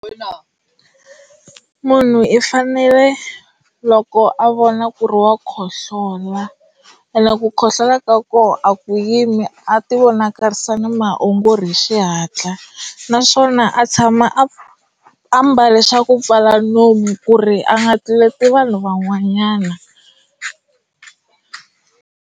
Munhu i fanele loko a vona ku ri wa khohlola ene ku khohlola ka koho a ku yimi a ti vonakarisa na maongori hi xihatla naswona a tshama a ambale xa ku pfala nomu ku ri a nga tluleti vanhu van'wanyana.